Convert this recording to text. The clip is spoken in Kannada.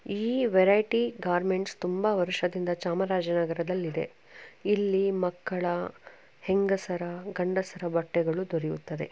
ಈ ವೆರೈಟಿ ಗಾರ್ಮೆಂಟ್ಸ್ ತುಂಬಾ ವರ್ಷದಿಂದ ಚಾಮರಾಜನಗರದಲ್ಲಿದೆ. ಇಲ್ಲಿ ಮಕ್ಕಳ ಹೆಂಗಸರ ಗಂಡಸರ ಬಟ್ಟೆಗಳು ದೊರೆಯುತ್ತದೆ.